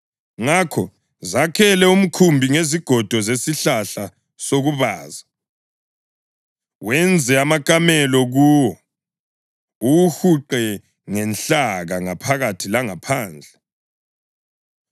Ngakho zakhele umkhumbi ngezigodo zesihlahla sokubaza; wenze amakamelo kuwo, uwuhuqe ngenhlaka ngaphakathi langaphandle.